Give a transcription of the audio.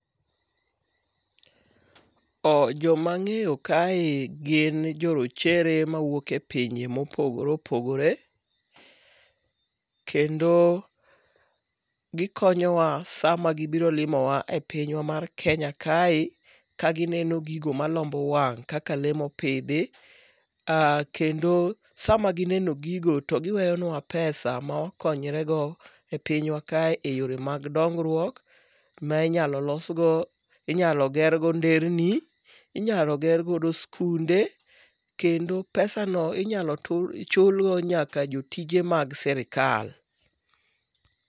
Joma ang'eyo kae gin jo rochere mawuok e pinje mopogore opogore. Kendo gikonyowa sama gibiro limowa e pinywa mar Kenya kae ka gineno gigo malombo wang' kaka lee mopidhi, kendo sama gineno gigo to giweyonwa pesa ma wakonyre go e pinywa kae e yore mag dongruok ma inyalo gergo nderni, inyalo gergo skunde kendo pesano inyalo chulgo nyaka jotije mag srikal.